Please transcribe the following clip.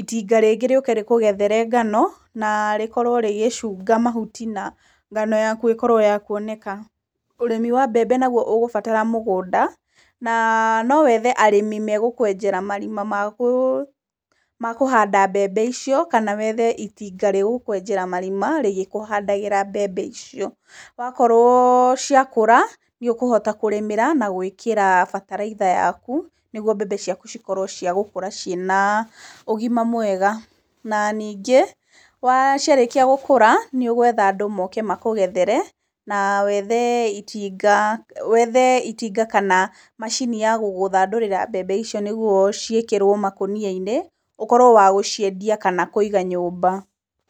itinga rĩngĩ rĩũke rĩkũgethere ngano, na rĩkorwo rĩgĩcunga mahuti na ngano yaku ĩkorwo ya kuoneka. Ũrĩmi wa mbembe naguo ũgũbatara mũgũnda, na nowethe arĩmi megũkwenjera marima magũ makũhanda mbembe icio kana wethe itinga rĩgũkwenjera marima rĩgĩkũhandagĩra mbembe icio. Wakorwo cĩakũra nĩũkũhota kũrĩmĩra na gwĩkĩra bataraitha yaku nĩguo mbembe ciaku cikorwo cia gũkũra ina ũgima mwega na ningĩ, wa ciarĩkia gũkũra nĩũgwetha andũ moke makũgethere na wethe itinga wethe itinga kana macini ya gũgũthandũrĩra mbembe icio nĩguo ciĩkĩrwo makũnia-inĩ, ũkorwo wa gũciendia kana kũiga nyũmba.